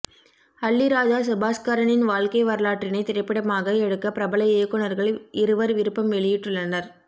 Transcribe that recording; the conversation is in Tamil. அல்லிராஜா சுபாஸ்கரனின் வாழ்க்கை வரலாற்றினை திரைப்படமாக எடுக்க பிரபல இயக்குனர்கள் இருவர் விருப்பம் வெளியிட்டுள்ளனர்